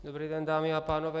Dobrý den, dámy a pánové.